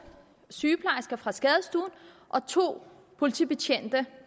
sygeplejersker fra skadestuen og to politibetjente